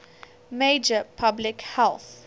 major public health